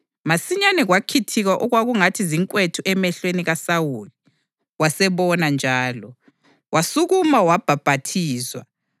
Masinyane, kwakhithika okwakungathi zinkwethu emehlweni kaSawuli, wasebona njalo. Wasukuma wabhaphathizwa,